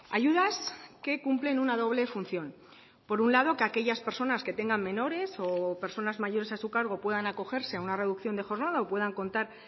ayudas que cumplen una doble función por un lado que aquellas personas que tengan menores o personas mayores a su cargo puedan acogerse a una reducción de jornada o puedan contar